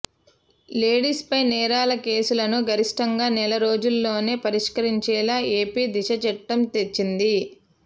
లేడీస్పై నేరాల కేసులను గరిష్టంగా నెల రోజుల్లోనే పరిష్కరించేలా ఏపీ దిశ చట్టం తెచ్చింది